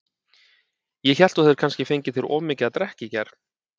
Ég hélt þú hefðir kannski fengið þér of mikið að drekka í gær.